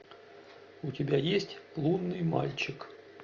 у тебя есть лунный мальчик